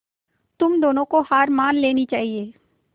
तुम दोनों को हार मान लेनी चाहियें